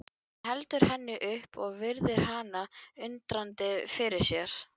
Hann heldur henni upp og virðir hana undrandi fyrir sér.